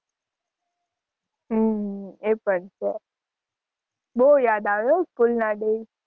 હમ એ પણ છે બવ યાદ આવે હો school નાં દિવસ.